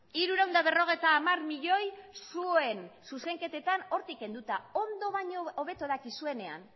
hirurehun eta berrogeita hamar milioi zuen zuzenketetan hortik kenduta ondo baino hobeto dakizuenean